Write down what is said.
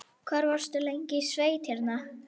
Hvað varstu lengi í sveit hérna?